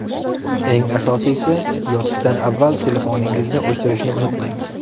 Eng asosiysi, yotishdan avval telefoningizni o‘chirishni unutmang.